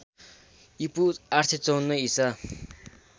ईपू ८५४ ईसा